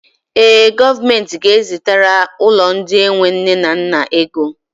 Ee, gọọmenti ga-ezitere ụlọ ndị enwe nne na nna ego